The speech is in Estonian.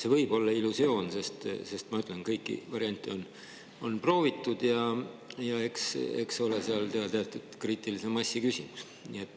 See võib olla illusioon, sest ma ütlen, kõiki variante on proovitud, ja eks ole seal ka teatud kriitilise massi küsimus.